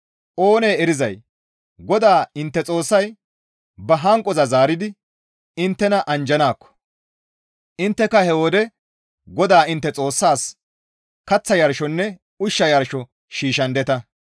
Oonee erizay GODAA intte Xoossay ba hanqoza zaaridi inttena anjjanaakko, intteka he wode GODAA intte Xoossas kaththa yarshonne ushsha yarsho shiishshandeta.